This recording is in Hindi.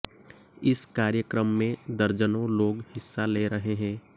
इस कार्यक्रम में दर्जनों लोग हिस्सा ले रहे हैं